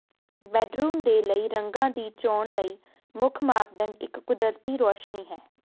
bedroom ਦੇ ਲਈ ਰੰਗ ਦੀ ਚੋਣ ਲਈ ਮੁੱਖ ਮਾਪਦੰਡ ਇੱਕ ਕੁਦਰਤੀ ਰੌਸ਼ਨੀ ਹੈ